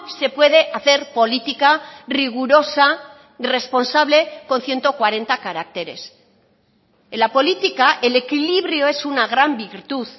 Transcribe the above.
se puede hacer política rigurosa responsable con ciento cuarenta caracteres en la política el equilibrio es una gran virtud